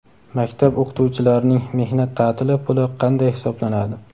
Maktab o‘qituvchilarning mehnat taʼtili puli qanday hisoblanadi?.